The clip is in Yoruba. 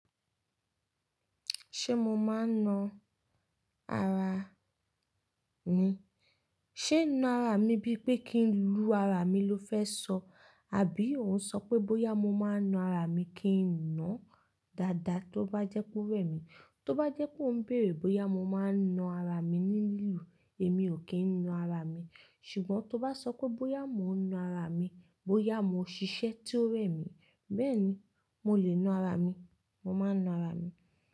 Ṣé mo máa ń na ara ni? Ṣé na ara mi bíi pé kí n lu ara mi lo fẹ́ sọ, àbí òun ń sọ pé bóyá mo máa ń na ara mi kí n na dáadáa tó bá jẹ́ pé ó rẹ̀ mí. Tó bá jẹ́ pé ó ń bèrè bóyá mo máa ń na ara mi ní lílù, èmi ò kí ń na ara mi. Ṣùgbọ́n tó bá sọ pé bóyá mo ń na ara mi, bóyá mo ń ṣiṣẹ́ tí ó rẹ̀ mí, bẹ́ẹ̀ ni, mo lè na ara mi, mo máa ń na ara mi.